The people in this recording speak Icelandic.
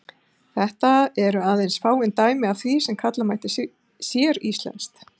Þetta eru aðeins fáein dæmi af því sem kalla mætti séríslenskt.